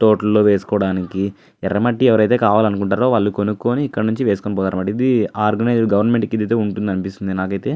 తోట లో వేసుకోవడానికి ఎర్రమట్టి ఎవరైతే కావాలనుకుంటారో వాళ్ళు కొనుక్కొని ఇక్కడ నుంచి వేసుకొని పాతరు అన్నమాట. ఇది ఆర్గనైజ్ గవర్నమెంట్ కింద అయితే ఉంటుంది అనిపిస్తుంది నాకు అయితే.